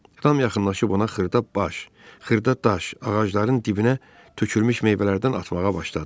Ram yaxınlaşıb ona xırda baş, xırda daş, ağacların dibinə tökülmüş meyvələrdən atmağa başladı.